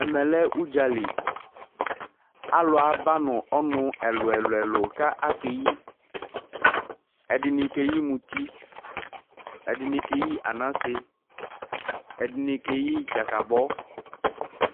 Ɛmɛ lɛ ʋɖzali, alʋ ba nʋ ɔnʋ ɛlʋɛlʋ ƙʋ akeƴi:ɛɖɩnɩ keƴi muti, éɖɩnɩ keƴi anase, éɖɩnɩ keƴi ɖzaƙabɔ,